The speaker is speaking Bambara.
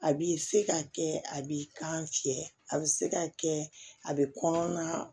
A b'i se ka kɛ a b'i kan fiyɛ a bi se ka kɛ a bɛ kɔnɔna